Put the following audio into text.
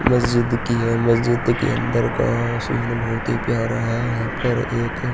मस्जिद की है। मस्जिद के अन्दर का सीन बहुत ही प्यारा है। यहाँ पर एक --